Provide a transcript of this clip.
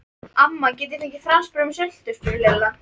Amma, get ég fengið franskbrauð með sultu? spurði Lilla.